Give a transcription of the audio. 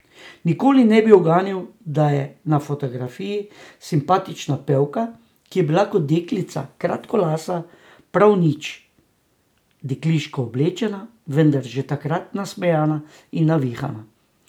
Nikoli ne bi uganili, da je na fotografiji simpatična pevka, ki je bila kot deklica kratkolasa, prav nič dekliško oblečena, vendar že takrat nasmejana in navihana.